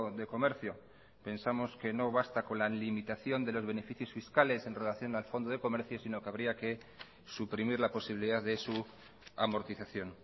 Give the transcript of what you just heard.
de comercio pensamos que no basta con la limitación de los beneficios fiscales en relación al fondo de comercio sino que habría que suprimir la posibilidad de su amortización